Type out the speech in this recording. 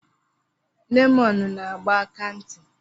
Lemọnụ na agba aka ntị.